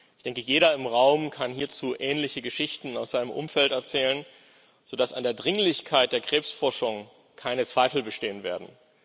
Ich denke, jeder im Raum kann hierzu ähnliche Geschichten aus seinem Umfeld erzählen, sodass an der Dringlichkeit der Krebsforschung keine Zweifel bestehen werden.